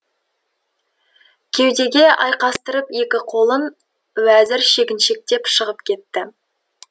кеудеге айқастырып екі қолын уәзір шегіншектеп шығып кетті